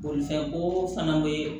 Bolifɛnko fana bɛ